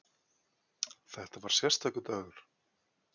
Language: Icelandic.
Þetta var sérstakur dagur.